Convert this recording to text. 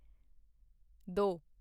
ਦੋ